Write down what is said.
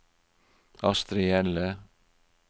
Astrid Hjelle